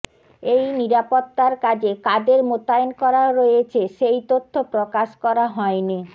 এই নিরাপত্তার কাজে কাদের মোতায়েন করা রয়েছে সেই তথ্য প্রকাশ করা হয়নি